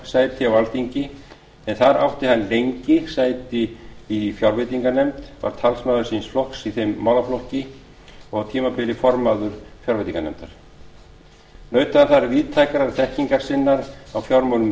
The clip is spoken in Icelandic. sæti á alþingi en þar átti hann lengi sæti í fjárveitinganefnd var talsmaður síns flokks í þeim málaflokki og á tímabili formaður fjárveitinganefndar naut hann víðtækrar þekkingar sinnar á fjármálum